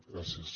gràcies